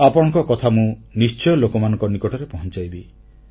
ଆପଣଙ୍କ କଥା ମୁଁ ନିଶ୍ଚୟ ଲୋକମାନଙ୍କ ନିକଟରେ ପହଂଚାଇବି